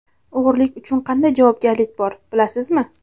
O‘g‘rilik uchun qanday javobgarlik bor, bilasizmi?.